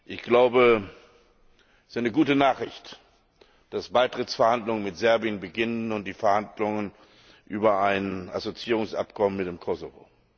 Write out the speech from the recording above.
Ich glaube, es ist eine gute Nachricht, dass Beitrittsverhandlungen mit Serbien beginnen und die Verhandlungen über ein Assoziierungsabkommen mit dem Kosovo.